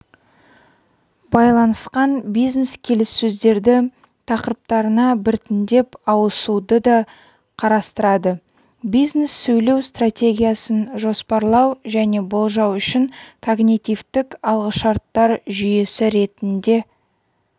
байланысқан бизнес-келіссөздердің тақырыптарына біртіндеп ауысуды да қарастырады бизнес-сөйлеу стратегиясын жоспарлау және болжау үшін когнитивтік алғышарттар жүйесі ретінде